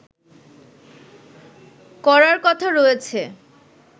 করার কথা রয়েছে